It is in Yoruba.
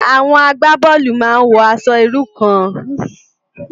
Awòn àgbábòlú má n wò ãṣò irú kàn